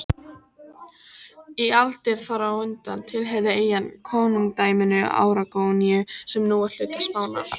Í aldir þar á undan tilheyrði eyjan konungdæminu Aragóníu sem nú er hluti Spánar.